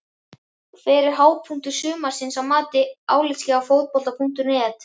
Hver var hápunktur sumarsins að mati álitsgjafa Fótbolta.net?